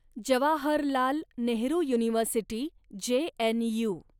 Jawaharlal Nehru university, JNU